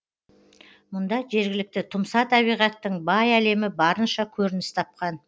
мұнда жергілікті тұмса табиғаттың бай әлемі барынша көрініс тапқан